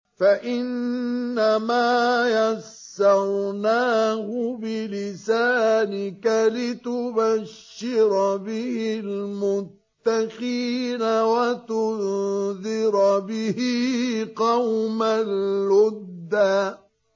فَإِنَّمَا يَسَّرْنَاهُ بِلِسَانِكَ لِتُبَشِّرَ بِهِ الْمُتَّقِينَ وَتُنذِرَ بِهِ قَوْمًا لُّدًّا